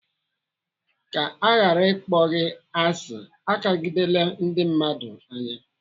Ka aghara ịkpọ gị asị, akagidele ndị mmadụ anya.